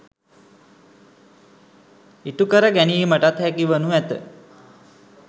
ඉටුකර ගැනීමටත් හැකිවනු ඇත.